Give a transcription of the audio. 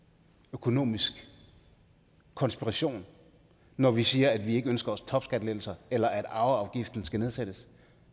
økonomisk konspiration når vi siger at vi ikke ønsker os topskattelettelser eller at arveafgiften ikke skal nedsættes